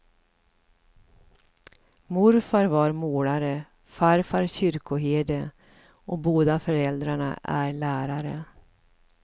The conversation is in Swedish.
Morfar var målare, farfar kyrkoherde och båda föräldrarna är lärare.